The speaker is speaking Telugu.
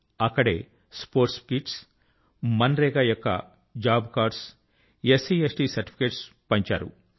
అక్కడే స్పోర్ట్స్ కిట్స్ మన్ రేగా యొక్క job cards SC ST certificates పంచిపెట్టారు